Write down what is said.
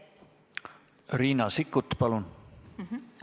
Riina Sikkut, palun!